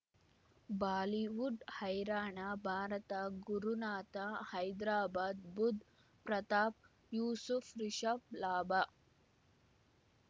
Bollywood ಹೈರಾಣ ಭಾರತ ಗುರುನಾಥ ಹೈದರಾಬಾದ್ ಬುಧ್ ಪ್ರತಾಪ್ ಯೂಸುಫ್ ರಿಷಬ್ ಲಾಭ